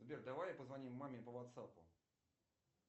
сбер давай позвоним маме по ватсапу